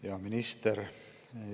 Hea minister!